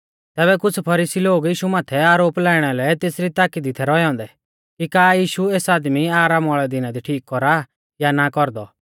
तैबै कुछ़ फरीसी लोग यीशु माथै आरोप लाइणा लै तेसरी ताकी दी थै रौऐ औन्दै कि का यीशु एस आदमी आरामा वाल़ै दिना दी ठीक कौरा या नाईं कौरदौ